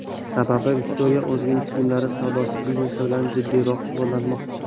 Sababi, Viktoriya o‘zining kiyimlar savdosi biznesi bilan jiddiyroq shug‘ullanmoqchi.